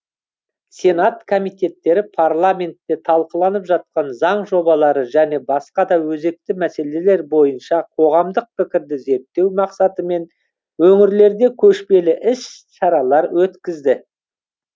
сенат комитеттері парламентте талқыланып жатқан заң жобалары және басқа да өзекті мәселелер бойынша қоғамдық пікірді зерттеу мақсатымен өңірлерде көшпелі іс шаралар өткізді